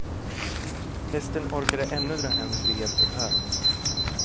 Hästen orkade ännu dra hem ved och hö.